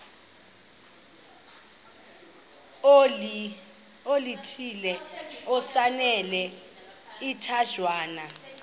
oluthile esinalo isichazwa